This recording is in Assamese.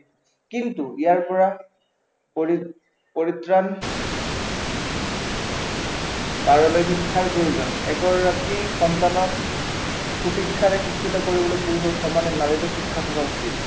কিন্তু ইয়াৰ পৰা পৰিত্ৰাণ পাবলৈ শিক্ষাৰ প্ৰয়োজন, এগৰাকী সন্তানক সু-শিক্ষাৰে শিক্ষিত কৰিবলৈ পুৰুষৰ সমানে নাৰীৰো শিক্ষা থকা উচিত